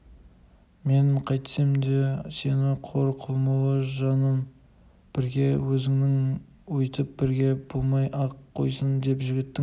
мен қайтсем де сені қор қылмаулы жаным бірге өзіңмен өйтіп бірге болмай-ақ қойсын деп жігіттің